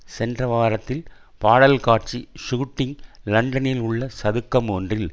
சென்ற வாரத்தில் பாடல் காட்சி ஷூட்டிங் லண்டனில் உள்ள சதுக்கம் ஒன்றில்